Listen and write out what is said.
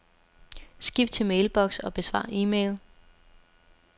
Skift til mailbox og besvar e-mail.